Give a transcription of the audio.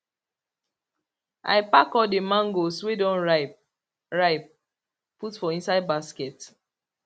i pack all the mangoes wey don ripe ripe put for inside basket